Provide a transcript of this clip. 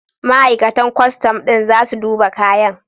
Ma'aikatan kwastam ɗin za su duba kayan.